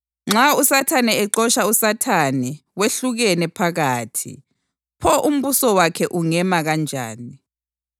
Nxa uSathane exotsha uSathane, wehlukene phakathi. Pho umbuso wakhe ungema kanjani?